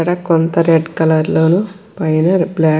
ఇక్కడ కొంత red colour లోను పైన బ్లాక్ --